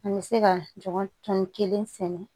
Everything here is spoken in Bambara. An bɛ se ka ɲɔgɔn tɔni kelen sɛnɛ